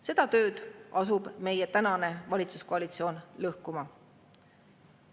Seda tööd asub meie tänane valitsuskoalitsioon lõhkuma.